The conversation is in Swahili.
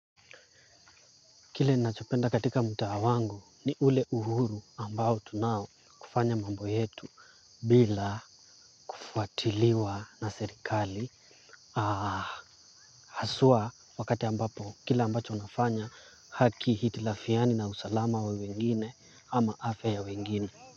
Kile nachopenda katika mtaa wangu ni ule uhuru ambao tunao kufanya mambo yetu bila kufuatiliwa na serikali. Haswa wakati ambapo kile ambacho nafanya hakihitilafiani na usalama wa wengine au afya ya wengine.